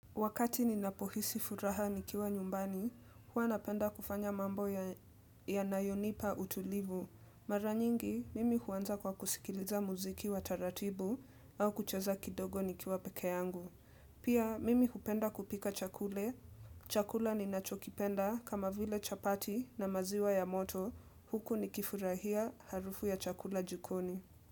Wakati ninapo hisi furaha nikiwa nyumbani, huwa napenda kufanya mambo yanayo nipa utulivu. Mara nyingi, mimi huanza kwa kusikiliza muziki wa taratibu au kucheza kidogo nikiwa peke yangu. Pia, mimi hupenda kupika chakula. Chakula ninachokipenda kama vile chapati na maziwa ya moto. Huku nikifurahia harufu ya chakula jukoni.